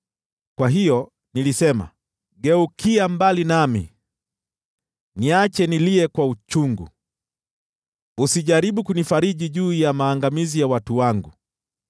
Kwa hiyo nilisema, “Geukia mbali nami, niache nilie kwa uchungu. Usijaribu kunifariji juu ya maangamizi ya watu wangu.”